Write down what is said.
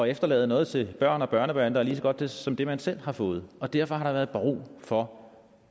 efterlade noget til børn og børnebørn der er lige så godt som det man selv har fået og derfor har der været brug for